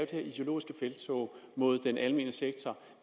ideologiske felttog mod den almene sektor